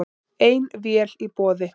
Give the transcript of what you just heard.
Ein vél í boði